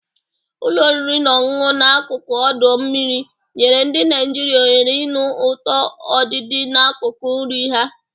Ụlọ oriri na ọṅụṅụ n'akụkụ ọdọ mmiri nyere ndị Naijiria ohere ịnụ ụtọ ọdịdị n'akụkụ nri ha.